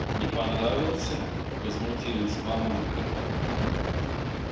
не понравился возмутилась мамулька